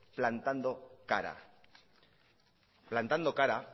plantando cara para